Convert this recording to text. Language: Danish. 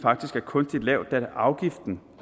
kunstigt lavt da afgiften